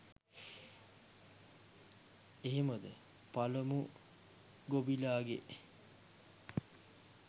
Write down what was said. එහෙමද " පලමු ගොබිලාගේ